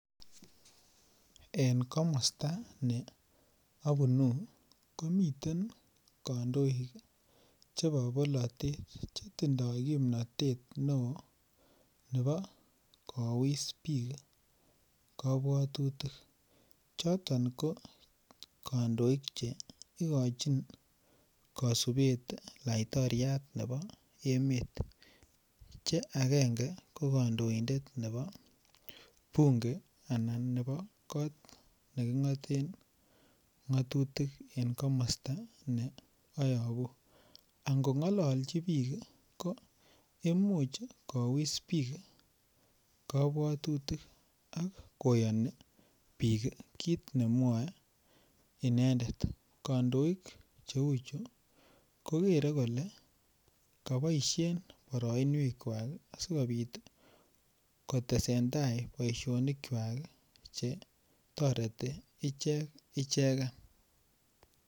En komosto ne obunu komiten kondoik chebo bolotet chetindo kimnotet neo chebo kowis bik ii kobwotutik choton kokondoik che ikochin kosibet laitoriat nebo emet che agenge ko kondoindet nebo bunge anan nebo kot nekingoten ngatutik en komosto ne oyobu angongoloji bik ii ko imuch kowis bik kobwotutik ak koyoni bik kit nemwoe inendet kondoik cheuchu kokere kole koboishen boroinwekwak asikobit kotesendaa boishonikwak chetoreti ichek icheken.